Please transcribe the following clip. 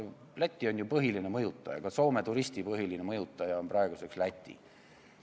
Läti on ju põhiline mõjutaja, ka Soome turisti põhiline mõjutaja on praegu Läti.